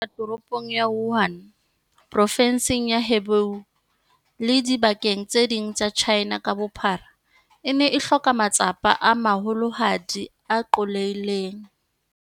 Taolo ya bohloko bona Toropong ya Wuhan, Provenseng ya Hubei le dibakeng tse ding tsa China ka bophara, e ne e hloka matsapa a maholohadi a qollehileng.